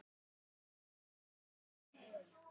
Úr því varð aldrei.